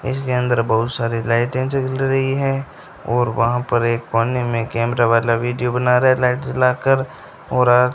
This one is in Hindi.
इसके अंदर बहुत सारे लाइटें जल रही हैं और वहां पर एक कोने में कैमरा वाला वीडियो बना रहा है लाइट जला कर और आर --